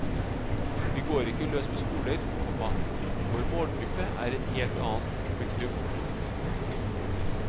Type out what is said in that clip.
Vi går ikke løs på skoler, komma vår målgruppe er en helt annen. punktum